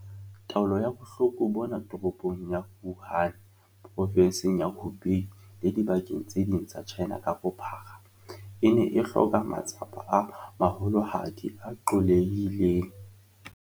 Taolo ya bohloko bona Toropong ya Wuhan, Provenseng ya Hubei le dibakeng tse ding tsa China ka bophara, e ne e hloka matsapa a maholohadi a qollehileng.